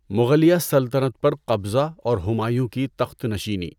مغلیہ سلطنت پر قبضہ اور ہمایوں کی تخت نشیںنی